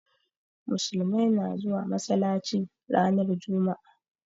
Musulmai na zuwa masalaci ran juma'a